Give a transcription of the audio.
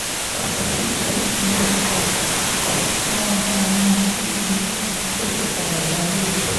òsibítù ìlú port harcourt tí wọ́n darí wọn sí yìí ló ti padà dágbére